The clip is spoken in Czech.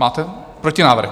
Máte protinávrh?